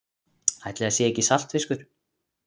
Ætli það sé ekki saltfiskur.